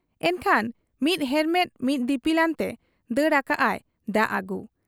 ᱮᱱᱠᱷᱟᱱ ᱢᱤᱫ ᱦᱮᱨᱢᱮᱫ ᱢᱤᱫ ᱫᱤᱯᱤᱞ ᱟᱱᱛᱮ ᱫᱟᱹᱲ ᱟᱠᱟᱜ ᱟᱭ ᱫᱟᱜ ᱟᱹᱜᱩ ᱾